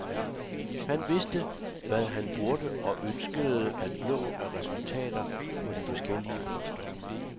Han vidste, hvad han burde og ønskede at nå af resultater på de forskellige poster.